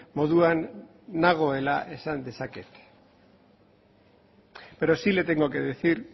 moduan nagoela esan dezaket pero sí le tengo que decir